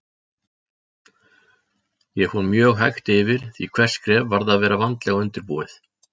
Ég fór mjög hægt yfir því hvert skref varð að vera vandlega undirbúið.